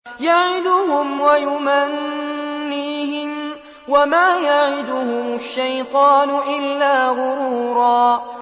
يَعِدُهُمْ وَيُمَنِّيهِمْ ۖ وَمَا يَعِدُهُمُ الشَّيْطَانُ إِلَّا غُرُورًا